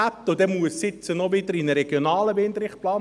Jetzt muss es wiederum auch in einen regionalen Windrichtplan.